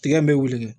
Tigɛ in bɛ wele